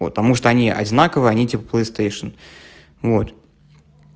потому что они одинаковы они типа плестейшен вот